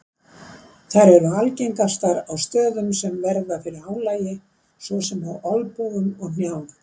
Þær eru algengastar á stöðum sem verða fyrir álagi svo sem á olnbogum og hnjám.